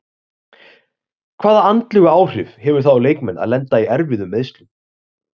Hvaða andlegu áhrif hefur það á leikmenn að lenda í erfiðum meiðslum?